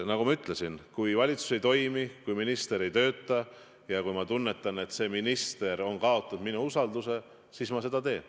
Nagu ma ütlesin, kui valitsus ei toimi, kui minister ei tööta ja kui ma tunnetan, et see minister on kaotanud minu usalduse, siis ma seda teen.